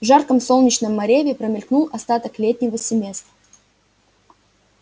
в жарком солнечном мареве промелькнул остаток летнего семестра